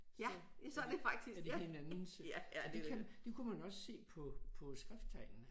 Så er er det hinandens og det kan det kunne man også se på på skrifttegnene